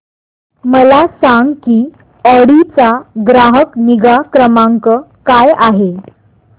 मला सांग की ऑडी चा ग्राहक निगा क्रमांक काय आहे